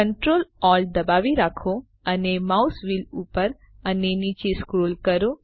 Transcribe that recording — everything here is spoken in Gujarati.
Ctrl Alt દબાવી રાખો અને માઉસ વ્હીલ ઉપર અને નીચે સ્ક્રોલ કરો